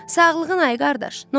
Sağlığın ay qardaş, n'olacaq?